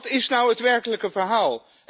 Wat is nou het werkelijke verhaal?